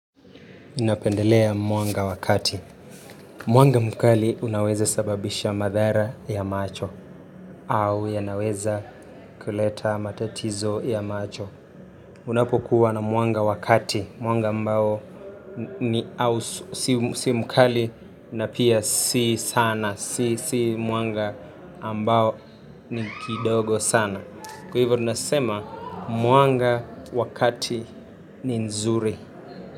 Napendelea mwanga wakati. Mwanga mkali unaweza sababisha madhara ya macho. Au yanaweza kuleta matatizo ya macho. Unapokuwa na mwanga wa kati. Mwanga ambao ni au si mkali na pia si sana. Si mwanga ambao ni kidogo sana. Kwa hivyo tunasema mwanga wa kati ni nzuri.